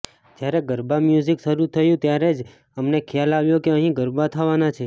જ્યારે ગરબા મ્યૂઝિક શરૂ થયું ત્યારે જ અમને ખ્યાલ આવ્યો કે અહિં ગરબા થવાના છે